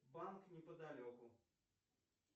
банк неподалеку